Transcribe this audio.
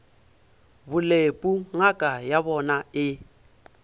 bolepu ngaka ya bona e